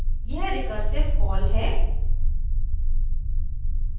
यह recursive call है